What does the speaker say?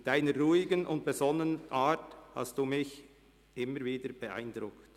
Mit Ihrer ruhigen und besonnenen Art haben Sie mich immer wieder beeindruckt.